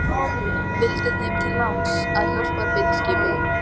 Vildi þeim til láns, að hjálparbeitiskipið